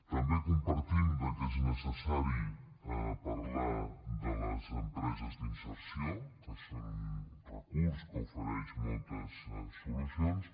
també compartim que és necessari parlar de les empreses d’inserció que són un recurs que ofereix moltes solucions